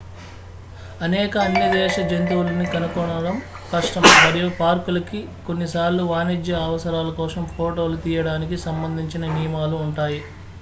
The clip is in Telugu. అనేక అన్యదేశ జంతువులని కనుగొనడం కష్టం మరియు పార్కులకి కొన్నిసార్లు వాణిజ్య అవసరాల కోసం ఫోటోలు తీయడానికి సంబంధించిన నియమాలు ఉంటాయి